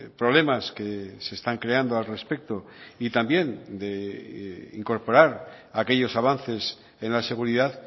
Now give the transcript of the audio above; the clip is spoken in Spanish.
problemas que se están creando al respecto y también de incorporar aquellos avances en la seguridad